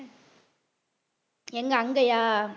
எங்க அங்கயா